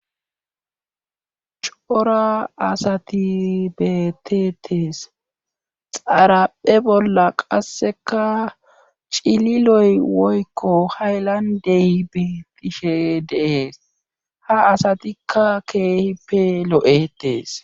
Cora asati betetes xaraphe bolla qasseka cililoy woykko hay landey biitishe dees ha asatikka keehippe lo7etees